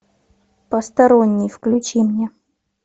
посторонний включи мне